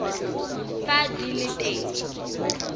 fa di le teng